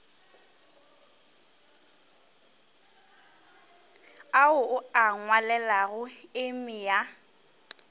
ao o a ngwalelago emia